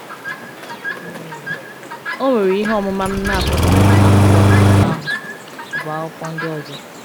o nwere ihe ọmụma m na - apụghị ịchọta na akwụkwọ akuko ahu ọ bụ akwụkwọ ndị ọzọ.